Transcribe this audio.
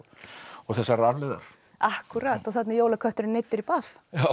þessarar arfleifðar þarna er jólakötturinn neyddur í bað